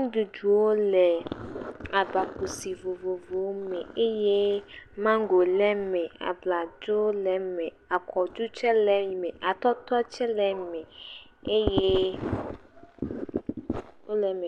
nuɖuɖu wole agba kusi vovovowo me eye mango le eme, abladzo le eme, akɔɖu tse le eme, atɔtɔ tse le eme eye wole eme.